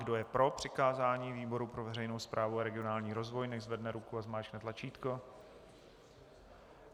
Kdo je pro přikázání výboru pro veřejnou správu a regionální rozvoj, nechť zvedne ruku a zmáčkne tlačítko.